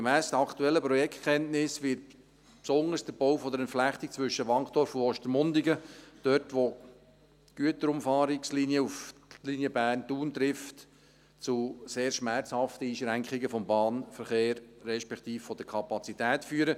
Gemäss den aktuellen Projektkenntnissen wird besonders der Bau der Entflechtung zwischen Wankdorf und Ostermundigen – dort, wo die Güterumfahrungslinie auf die Linie Bern-Thun trifft – zu sehr schmerzhaften Einschränkungen des Bahnverkehrs respektive der Kapazität führen.